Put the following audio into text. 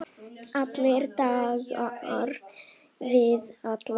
Allir dansa við alla.